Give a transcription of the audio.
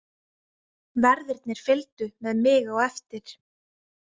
Verðirnir fylgdu með mig á eftir.